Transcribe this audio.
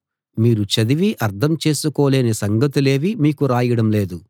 మీరు చదివి అర్థం చేసుకోలేని సంగతులేవీ మీకు రాయడం లేదు